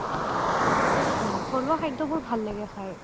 উম উম থলুৱা খাদ্য বোৰ ভাল লাগে খাই